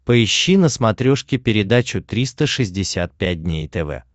поищи на смотрешке передачу триста шестьдесят пять дней тв